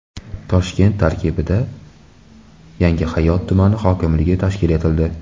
Toshkent tarkibida Yangihayot tumani hokimligi tashkil etildi.